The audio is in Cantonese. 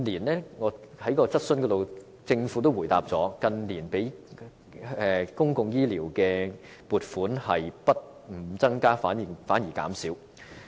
在回答質詢時，政府曾表示近年對公共醫療的撥款不但沒有增加，反而減少。